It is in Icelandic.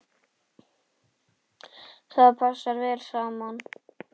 Það passaði vel saman.